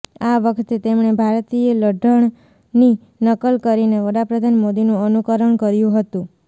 આ વખતે તેમણે ભારતીય લઢણની નકલ કરીને વડાપ્રધાન મોદીનું અનુકરણ કર્યું હતું